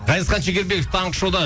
ғазизхан шекербеков таңғы шоуда